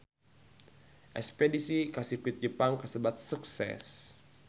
Espedisi ka Sirkuit Sepang kasebat sukses